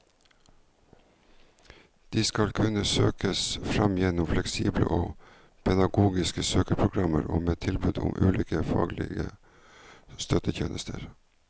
De skal kunne søkes fram gjennom fleksible og pedagogiske søkeprogrammer og med tilbud om ulike faglige støttetjenester.